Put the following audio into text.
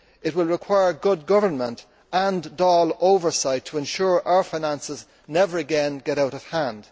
It will require good government and Dáil oversight to ensure our finances never again get out of hand.